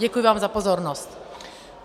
Děkuji vám za pozornost.